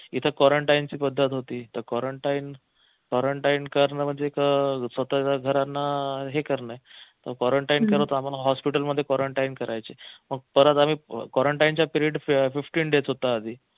इथे quarantine ची पद्धत होती तर quarantinequarantine करन म्हणजे एक स्वतःच्या घरांना हे करन मग quarantine करत आम्हाला hospital मध्ये quarantine करायचे मग परत आम्ही quarantine चा period fifteen days होता आधी